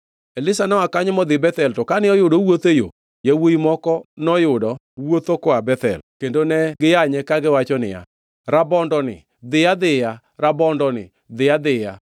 Elisha noa kanyo modhi Bethel to kane oyudo owuotho e yo, yawuowi moko noyudo wuotho koa Bethel kendo ne giyanye kagiwacho niya, “Rabondoni, dhiyo adhiya! Rabondoni, dhiyo adhiya!”